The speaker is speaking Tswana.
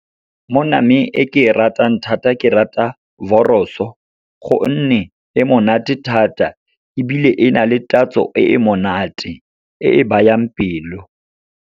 Mo nameng e ke e ratang thata, ke rata wors-o, gonne e monate thata. Ebile e na le tatso e monate e e bayang pelo.